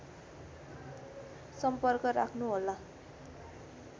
सम्पर्क राख्नुहोला